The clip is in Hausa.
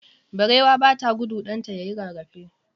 Barewa bata gudu ɗanta yayi rarrafe.